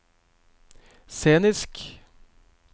scenisk